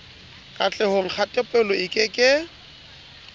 katlehong kgatelopele e ke ke